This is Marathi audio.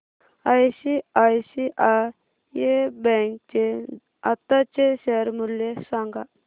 आयसीआयसीआय बँक चे आताचे शेअर मूल्य सांगा